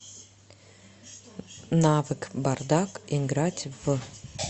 навык бардак играть в